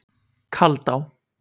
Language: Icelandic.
Kaldá